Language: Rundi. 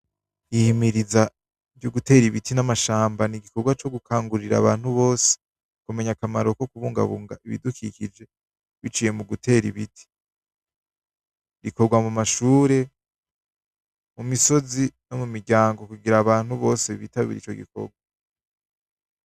Ihimiriza ryo gutera ibiti n'amashamba n'igikorwa co gukangurira abantu bose. Kumenya akamaro ko kubungabunga ibidukikije, biciye mugutera ibiti. Bikorwa mu mashure, mu misozi no mu miryango kugira abantu bose bitabire ico gikorwa.